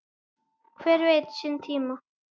Hver veit sinn tíma?